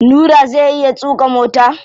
Nura zai iya tuƙa mota?